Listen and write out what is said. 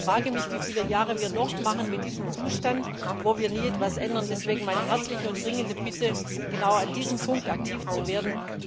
Ich frage mich, wie viele Jahre wir noch mit diesem Zustand weitermachen, wo wir nie etwas ändern. Deshalb meine herzliche und dringende Bitte, genau an diesem Punkt aktiv zu werden.